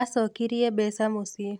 Acokirie mbeca muciĩ